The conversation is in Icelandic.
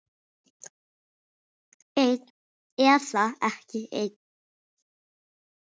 Einn eða ekki einn.